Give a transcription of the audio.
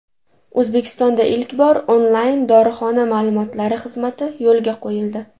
O‘zbekistonda ilk bor onlayn dorixona ma’lumotlari xizmati yo‘lga qo‘yildi!.